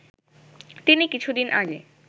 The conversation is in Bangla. তিনি কিছুদিন আগে